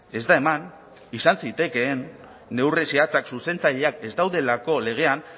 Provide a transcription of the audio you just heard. ez da eman izan zitekeen neurri zehatzak zuzentzaileak ez daudelako legean